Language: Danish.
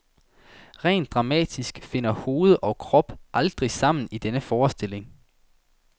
Rent dramatisk finder hoved og krop aldrig sammen i denne forestilling.